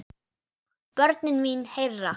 Börnin mín herra.